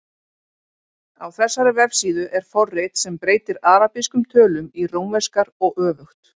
Á þessari vefsíðu er forrit sem breytir arabískum tölum í rómverskar og öfugt.